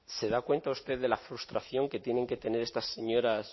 se da cuenta usted de la frustración que tienen que tener estas señoras